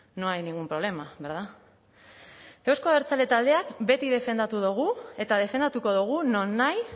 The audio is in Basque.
no hay ningún problema verdad eusko abertzale taldeak beti defendatu dugu eta defendatuko dugu nonahi